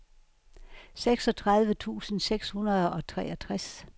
seksogtredive tusind seks hundrede og treogtres